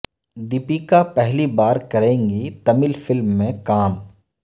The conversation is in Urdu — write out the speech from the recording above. دپیکا پہلی بار کریں گی تمل فلم میں کام